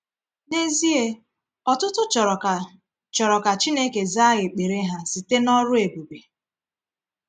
N’ezie, ọtụtụ chọrọ ka chọrọ ka Chineke zaa ekpere ha site n’ọrụ ebube.